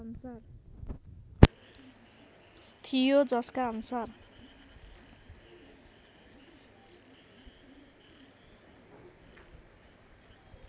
थियो जसका अनुसार